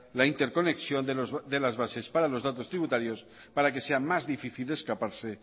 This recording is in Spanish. la interconexión de las bases para los datos tributarios para que sea más difícil escaparse